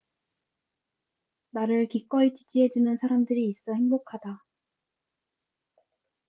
나를 기꺼이 지지해 주는 사람들이 있어 행복하다